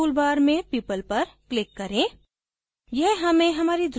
administration toolbar में people पर click करें